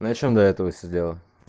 на чем до этого сидела